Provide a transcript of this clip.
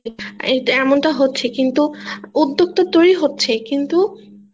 এই এটা এমন টা হচ্ছে কিন্তু উদ্যোক্তা তৈরি হচ্ছে কিন্তু